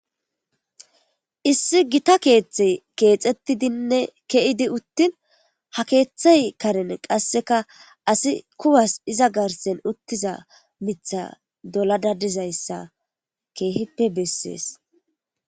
Issi gita keeththey keexettidine ke'idi ittin ha keeththey karen qassekka asi kuwas iza garssen uttiza miththa dolada dizayssa keehippe bessees.